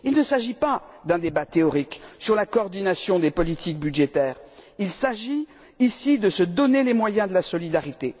Il ne s'agit pas d'un débat théorique sur la coordination des politiques budgétaires. Il s'agit, ici, de se donner les moyens de la solidarité.